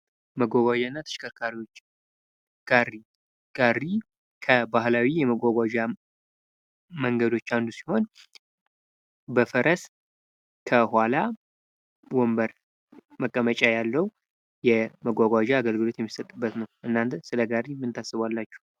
መጓጓዣ እና ተሽከርካሪዎች ጋሪ፡ጋሪ ከባህላዊ የመጓጓዣ መንገዶች አንዱ ሲሆን፤ በፈረስ ከኋላ ወንበር መቀመጫ ያለው የመጓጓዣ አገልግሎት የሚሰጥበት ነው። እናንተ ስለ ጋሪ ምን ታስባላችሁ?